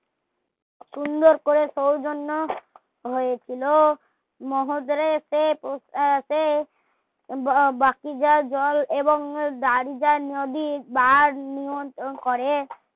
সুন্দর করে সৌজন্য হয়েছিল মৌদ্রে সে বাকি যা জল দাড়িয়া নদী দাঁড় নিয়ন্ত্রণ করে